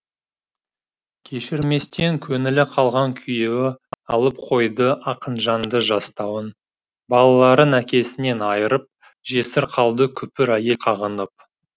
кешірместен көңілі қалған күйеуі алып қойды ақынжанды жастауын балаларын әкесінен айырып жесір қалды күпір әйел қағынып